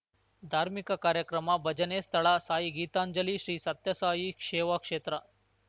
ಧಾರ್ಮಿಕ ಕಾರ್ಯಕ್ರಮ ಭಜನೆ ಸ್ಥಳ ಸಾಯಿ ಗೀತಾಂಜಲಿ ಶ್ರೀ ಸತ್ಯಸಾಯಿ ಶೇವಾಕ್ಷೇತ್ರ